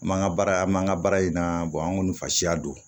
An man ka baara an man ka baara in na an kɔni fa siya don